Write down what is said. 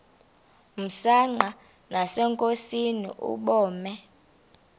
msanqa nasenkosini ubume